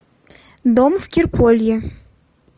дом в кирполье